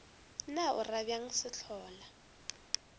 na o ra bjang sehlola